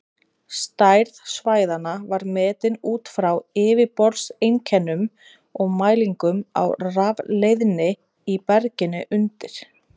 Stærð svæðanna var metin út frá yfirborðseinkennum og mælingum á rafleiðni í berginu undir.